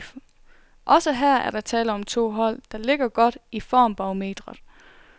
Også her er der tale om to hold, der ligger godt i formbarometret.